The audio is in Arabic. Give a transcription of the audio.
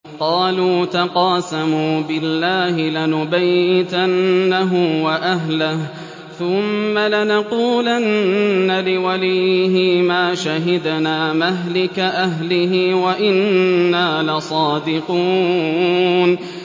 قَالُوا تَقَاسَمُوا بِاللَّهِ لَنُبَيِّتَنَّهُ وَأَهْلَهُ ثُمَّ لَنَقُولَنَّ لِوَلِيِّهِ مَا شَهِدْنَا مَهْلِكَ أَهْلِهِ وَإِنَّا لَصَادِقُونَ